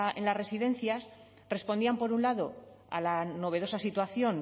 en las residencias respondían por un lado a la novedosa situación